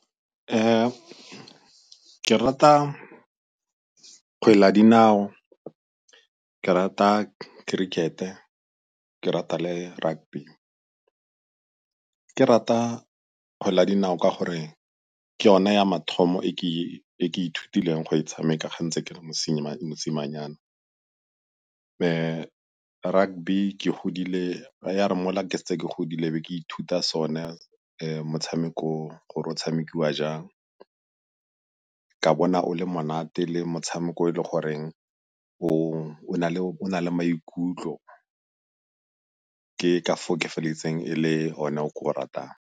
Ke rata kgwele ya dinao, ke rata kerikete, ke rata le rugby. Ke rata kgwele ya dinao ka gore ke yone ya mathomo e ke ithutileng go e tshameka ga ntse ke le mosimanyana. Rugby ke godile ya re mola ke setse ke godile e be ke ithuta sone motshameko o, o tshamekiwa jang ka bona o le monate le motshameko e le goreng o na le maikutlo ke ka foo ke feleditseng e le one o ke o ratang.